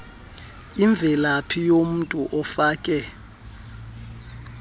imvelaphi yomntu ofake